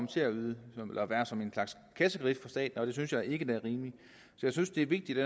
til at være som en slags kassekredit for staten og det synes jeg ikke er rimeligt jeg synes det er vigtigt